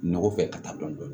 Nɔgɔ fɛ ka taa dɔn dɔni